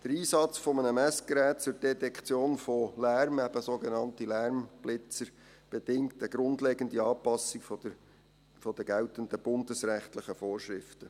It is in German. Der Einsatz eines Messgeräts zur Detektion von Lärm, eben sogenannte Lärmblitzer, bedingt eine grundlegende Anpassung der geltenden bundesrechtlichen Vorschriften.